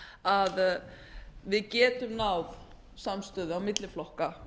að við getum náð þverpólitískri samstöðu á milli flokka